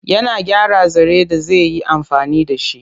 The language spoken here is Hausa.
Yana gyara zare da zi yi amfani da shi.